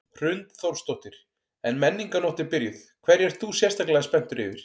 Hrund Þórsdóttir: En Menningarnótt er byrjuð, hverju ert þú sérstaklega spenntur yfir?